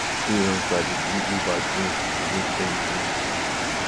freelancers dey do uber join to make ends meet